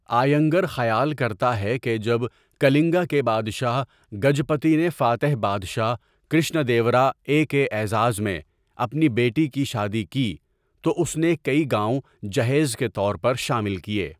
آینگر خیال کرتا ہے کہ جب کلنگا کے بادشاہ گجپتی نے فاتح بادشاہ کرشنا دیوراے کے اعزاز میں اپنی بیٹی کی شادی کی تو اس نے کئی گاؤں جہیز کے طور پر شامل کیے۔